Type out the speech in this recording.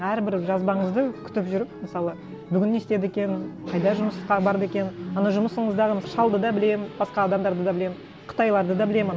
әрбір жазбаңызды күтіп жүріп мысалы бүгін не істеді екен қайда жұмысқа барды екен ана жұмысыңыздағы шалды да білемін басқа адамдарды да білемін қытайларды да білемін ана